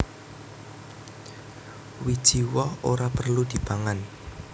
Wiji woh ora perlu dipangan